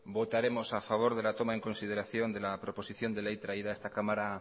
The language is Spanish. votaremos a favor de la toma en consideración de la proposición de ley traída a esta cámara